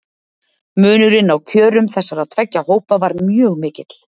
Munurinn á kjörum þessara tveggja hópa var mjög mikill.